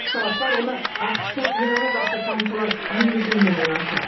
сарапшылар оны ақш тың иранға қарсы санкциялар енгізілуімен байланыстырады